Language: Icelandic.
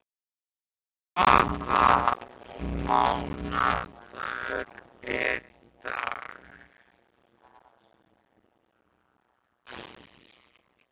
Konráð, hvaða mánaðardagur er í dag?